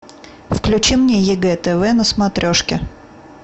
включи мне егэ тв на смотрешке